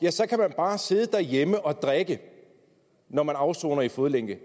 at så kan man bare sidde derhjemme og drikke når man afsoner i fodlænke